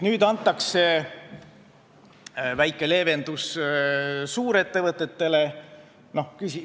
Nüüd tehakse väike leevendus suurettevõtetele.